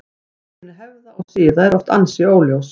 Uppruni hefða og siða er oft ansi óljós.